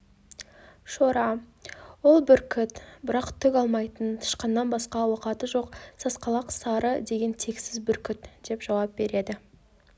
шора ол бүркіт бірақ түк алмайтын тышқаннан басқа ауқаты жоқ сасқалақ сары деген тексіз бүркіт деп жауап береді